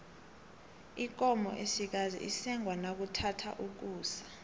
ikomo esikazi isengwa nakuthatha ukusa